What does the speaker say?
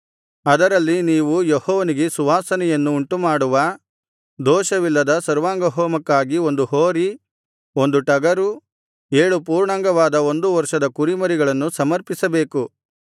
ಅದರಲ್ಲಿ ನೀವು ಯೆಹೋವನಿಗೆ ಸುವಾಸನೆಯನ್ನು ಉಂಟುಮಾಡುವ ದೋಷವಿಲ್ಲದ ಸರ್ವಾಂಗಹೋಮಕ್ಕಾಗಿ ಒಂದು ಹೋರಿ ಒಂದು ಟಗರು ಏಳು ಪೂರ್ಣಾಂಗವಾದ ಒಂದು ವರ್ಷದ ಕುರಿಮರಿಗಳನ್ನು ಸಮರ್ಪಿಸಬೇಕು